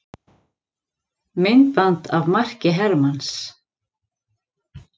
Myndband af marki Hermanns